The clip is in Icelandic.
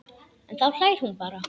En þá hlær hún bara.